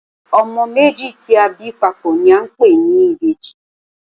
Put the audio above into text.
Ọmọ méjì tí a bí papò ni a ń pè ní ìbejì